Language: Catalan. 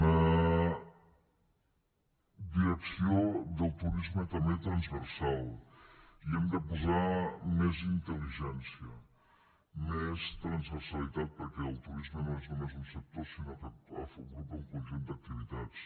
una direcció del turisme també transversal hi hem de posar més intel·ligència més transversalitat perquè el turisme no és només un sector sinó que agrupa un conjunt d’activitats